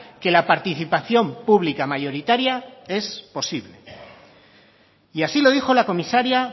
que la participación pública mayoritaria es posible y así lo dijo la comisaria